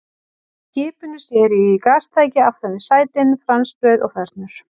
Frá skipinu sér í gastæki aftan við sætin, franskbrauð og fernur.